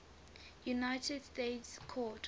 united states court